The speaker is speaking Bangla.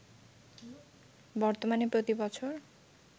বর্তমানে প্রতি বছর